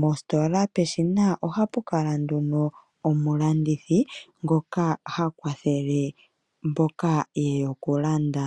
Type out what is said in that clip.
Mositola peshina ohapu kala nduno omulandithi ngoka ha kwathele mboka ye ya okulanda.